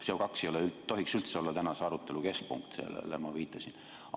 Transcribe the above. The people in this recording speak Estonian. CO2 ei tohiks üldse olla tänase arutelu keskpunkt, sellele ma viitasin.